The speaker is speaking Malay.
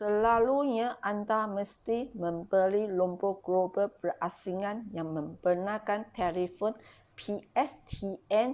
selalunya anda mesti membeli nombor global berasingan yang membenarkan telefon pstn